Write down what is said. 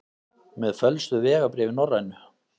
Með fölsuð vegabréf í Norrænu